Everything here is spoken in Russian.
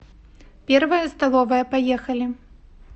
первая столовая поехали